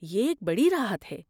یہ ایک بڑی راحت ہے۔